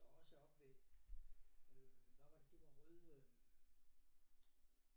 Og også oppe ved øh hvad var det det var rød øh